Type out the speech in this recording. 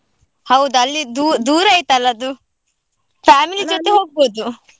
ಹೌದು ಅಲ್ಲಿ ದೂ~ ದೂರ ಆಯ್ತಲ್ಲ ಅದು, ಜೊತೆ ಹೋಗ್ಬಹುದು.